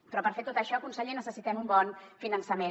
però per fer tot això conseller necessitem un bon finançament